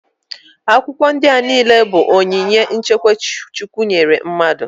Akwụkwọ ndị a niile bụ onyinye nchekwa Chukwu nyere mmadụ.